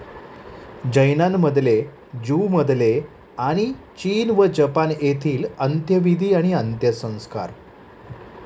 जैनांमधले, ज्यूमधले आणि चीन व जपान येथील 'अंत्यविधी व अंत्यसंस्कार '